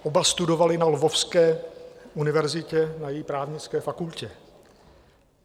Oba studovali na Lvovské univerzitě na její právnické fakultě.